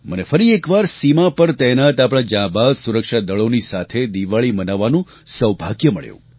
મને ફરી એકવાર સીમા પર તહેનાત આપણા જાંબાઝ સુરક્ષાદળોની સાથે દિવાળી મનાવવાનું સૌભાગ્ય મળ્યું